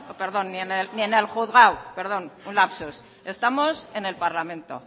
perdón ni en el juzgado un lapsus estamos en el parlamento